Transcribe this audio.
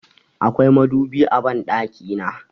Akwai madubi a banɗaki na.